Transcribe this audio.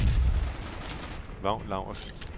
Vagn Laursen